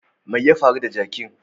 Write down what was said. Me ya faru da jakin?